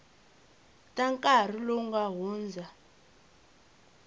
ta nkarhi lowu nga hundza